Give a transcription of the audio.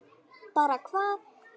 Bara hvað?